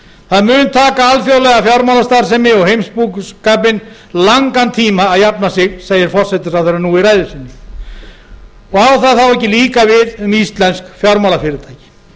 það mun taka alþjóðlega fjármálastarfsemi og heimsbúskapinn langan tíma að jafna sig segir forsætisráðherra nú í ræðu sinni á það þá ekki líka við um íslensk fjármálafyrirtæki